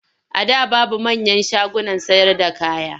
A da babu manyan shagunan sayarda kaya.